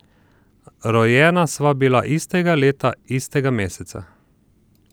Rojena sva bila istega leta, istega meseca.